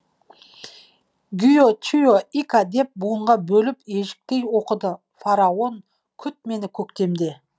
гио чио ика деп буынға бөліп ежіктей оқыды фараон күт мені көктемде